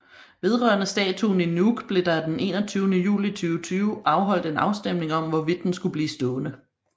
Vedrørende statuen i Nuuk blev der den 21 juli 2020 afholdt en afstemning om hvorvidt den skulle blive stående